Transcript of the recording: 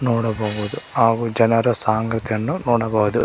ನೋಡಬಹುದು ಹಾಗು ಜನರ ಸಾಂಗತೆಯನ್ನು ನೋಡಬಹುದು.